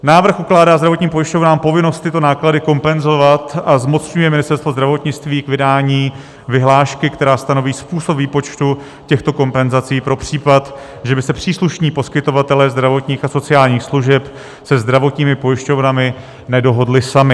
Návrh ukládá zdravotním pojišťovnám povinnost tyto náklady kompenzovat a zmocňuje Ministerstvo zdravotnictví k vydání vyhlášky, která stanoví způsob výpočtu těchto kompenzací pro případ, že by se příslušní poskytovatelé zdravotních a sociálních služeb se zdravotními pojišťovnami nedohodli sami.